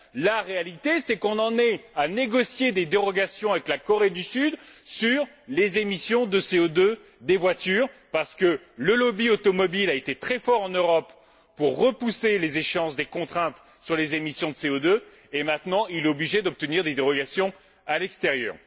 La réalité est qu'on en est à négocier des dérogations avec la Corée du Sud sur les émissions de CO 2 des voitures parce que le lobby automobile a été très fort en Europe pour repousser les échéances des contraintes sur les émissions de CO 2 et que maintenant, il est obligé d'obtenir des dérogations à l'extérieur.